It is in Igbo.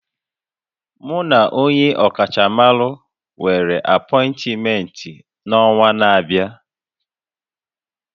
Mu na onye ọkachamara nwere apọịntmentị n'ọnwa na-abịa